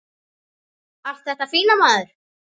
Allt þetta fína, maður.